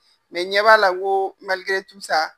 Mɛ n ɲɛ b'a la n ko